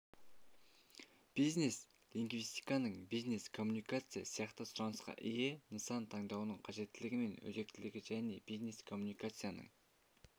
бизнес-лингвистиканың бизнес-коммуникация сияқты сұранысқа ие нысанын таңдаудың қажеттілігі мен өзектілігі және бизнес-коммуникацияның